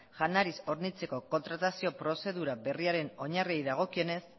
janariz hornitzeko kontratazio prozedura berriaren oinarri dagokienez